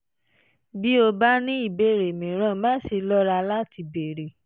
bí o bá ní ìbéèrè mìíràn má ṣe lọ́ra láti béèrè